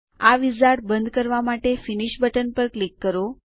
આ વિઝાર્ડ બંધ કરવા માટે ફિનિશ બટન પર ક્લિક કરો